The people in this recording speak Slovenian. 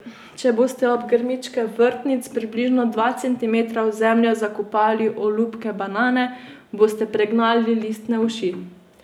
Če boste ob grmičke vrtnic približno dva centimetra v zemljo zakopali olupke banane, boste pregnali listne uši.